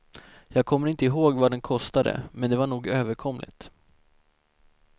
Jag kommer inte ihåg vad den kostade, men det var nog överkomligt.